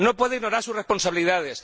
No puede ignorar sus responsabilidades.